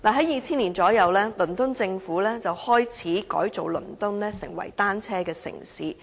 約於2000年，倫敦政府開始改造倫敦成為單車友善城市。